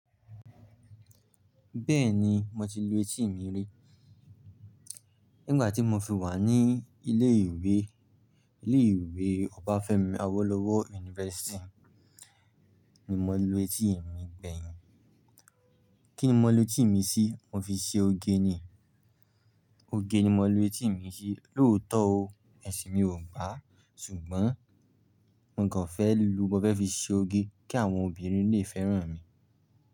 Bẹ́ẹ̀ni, mo ti lu etí mi rí. Nígbà tí mo fi wà ní ilé ìwé, ilé ìwé Obafemi Awolowo University ni mo lu etí mi gbẹ̀yìn. Kí ni mo lu etí mi sí? Mo fi ṣe oge ni, oge ni mo lu etí mi sí. Lóòótọ́ o, ẹ̀sìn mi ò gbà, ṣùgbọ́n mo kàn fẹ́ lu, mo fẹ́ fi ṣe oge kí àwọn obìnrin lè fẹ́ràn mi.